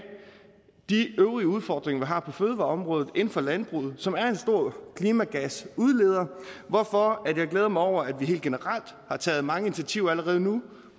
de øvrige udfordringer vi har på fødevareområdet inden for landbruget som er en stor klimagasudleder hvorfor jeg glæder mig over at vi helt generelt har taget mange initiativer allerede nu